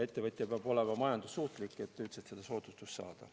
Ettevõtja peab olema majandussuutlik, et üldse seda soodustust saada.